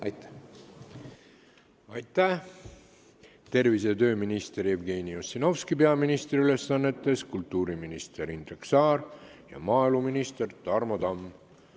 Aitäh, tervise- ja tööminister Jevgeni Ossinovski peaministri ülesannetes, kultuuriminister Indrek Saar ja maaeluminister Tarmo Tamm!